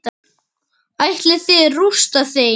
Ætlið þið að rústa þeim?